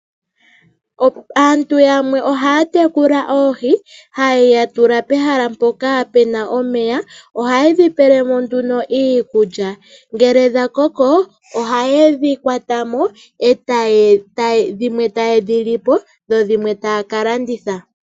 Aantu yamwe ohaya tekula oohi, haye dhitula pehala mpoka puna omeya. Ohaye dhi pelemo nduno iikulya ngele dha koko ohaye dhi kwatamo dhimwe taye dhi lipo dho dhimwe taya kalanditha.